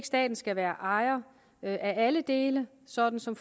staten skal være ejer af alle delene sådan som